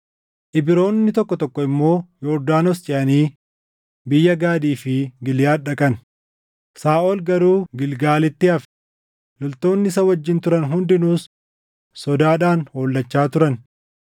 Ibroonni tokko tokko immoo Yordaanos ceʼanii biyya Gaadii fi Giliʼaad dhaqan. Saaʼol garuu Gilgaalitti hafe; loltoonni isa wajjin turan hundinuus sodaadhaan hollachaa turan.